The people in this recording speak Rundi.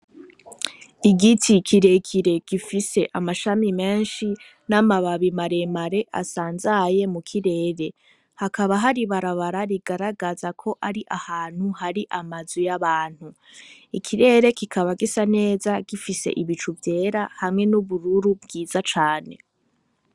Igiti kirekire gifise amashami menshi n'amababi maremare asanzaye mu kirere hakaba hari ibarabara rigaragaza ko ari ahantu hari amazu y'abantu ikirere kikaba gisa neza gifise ibicu vyera hamwe n'ubururu bwiza cane.